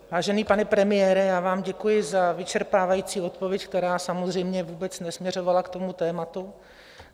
Vážený pane premiére, já vám děkuji za vyčerpávající odpověď, která samozřejmě vůbec nesměřovala k tomu tématu.